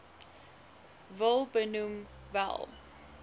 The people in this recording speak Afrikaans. wil benoem wel